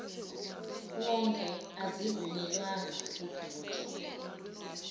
wonke azivunyelwanga ukudotshwa